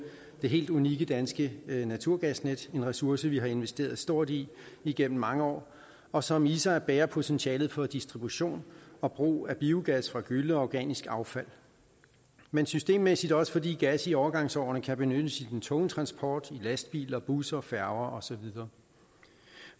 det helt unikke danske naturgasnet en ressource vi har investeret stort i igennem mange år og som i sig bærer potentialet for distribution og brug af biogas fra gylle og organisk affald men systemmæssigt også fordi gas i overgangsårene kan benyttes i den tunge transport i lastbiler busser færger og så videre